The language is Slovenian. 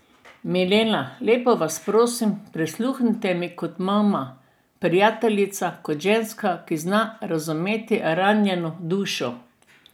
Milena, lepo vas prosim, prisluhnite mi kot mama, prijateljica, kot ženska, ki zna razumeti ranjeno dušo.